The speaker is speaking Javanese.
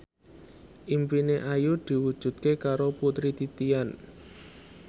impine Ayu diwujudke karo Putri Titian